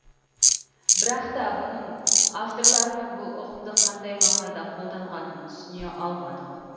бірақ та бұның авторларының бұл ұғымды қандай мағынада қолданғанын түсіне алмадық